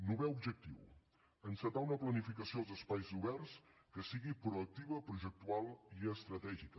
novè objectiu encetar una planificació dels espais oberts que sigui proactiva projectual i estratègica